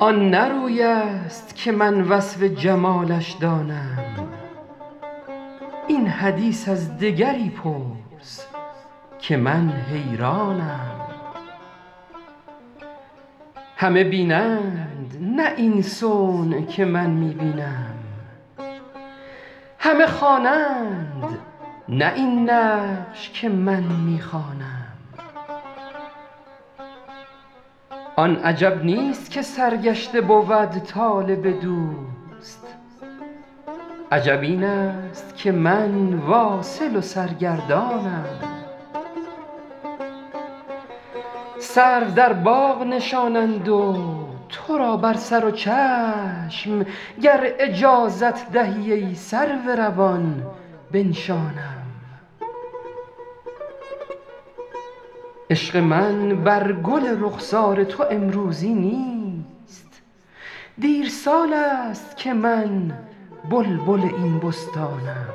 آن نه روی است که من وصف جمالش دانم این حدیث از دگری پرس که من حیرانم همه بینند نه این صنع که من می بینم همه خوانند نه این نقش که من می خوانم آن عجب نیست که سرگشته بود طالب دوست عجب این است که من واصل و سرگردانم سرو در باغ نشانند و تو را بر سر و چشم گر اجازت دهی ای سرو روان بنشانم عشق من بر گل رخسار تو امروزی نیست دیر سال است که من بلبل این بستانم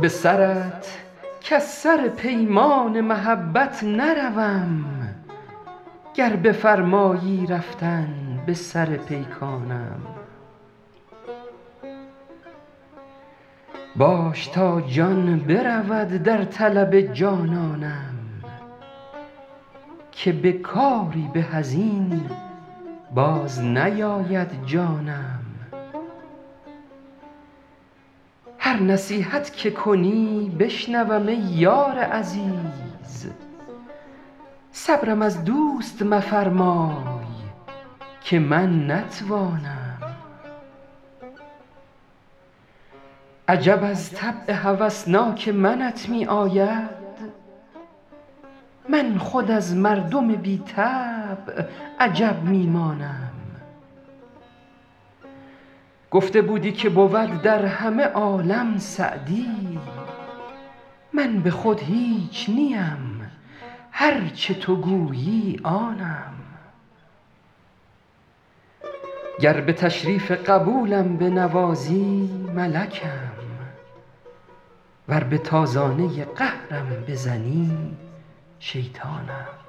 به سرت کز سر پیمان محبت نروم گر بفرمایی رفتن به سر پیکانم باش تا جان برود در طلب جانانم که به کاری به از این باز نیاید جانم هر نصیحت که کنی بشنوم ای یار عزیز صبرم از دوست مفرمای که من نتوانم عجب از طبع هوسناک منت می آید من خود از مردم بی طبع عجب می مانم گفته بودی که بود در همه عالم سعدی من به خود هیچ نیم هر چه تو گویی آنم گر به تشریف قبولم بنوازی ملکم ور به تازانه قهرم بزنی شیطانم